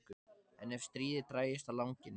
En ef stríðið drægist á langinn?